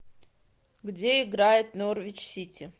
где играет норвич сити